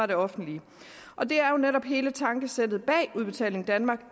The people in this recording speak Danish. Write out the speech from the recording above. det offentlige og det er jo netop hele tankesættet bag udbetaling danmark